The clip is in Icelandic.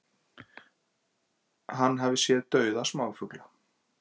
Hann hafi séð dauða smáfugla